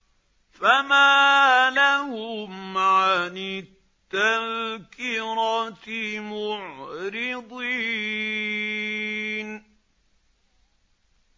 فَمَا لَهُمْ عَنِ التَّذْكِرَةِ مُعْرِضِينَ